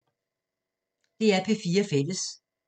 DR P4 Fælles